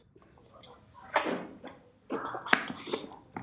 En hún fór á alla hina.